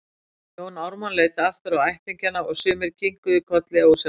Jón Ármann leit aftur á ættingjana og sumir kinkuðu kolli ósjálfrátt.